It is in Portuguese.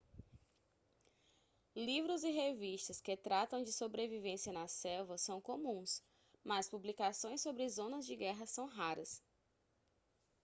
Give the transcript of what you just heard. livros e revistas que tratam de sobrevivência na selva são comuns mas publicações sobre zonas de guerra são raras